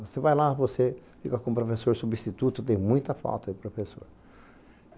Você vai lá, você fica como professor substituto, tem muita falta de professor.